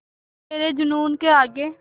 तेरे जूनून के आगे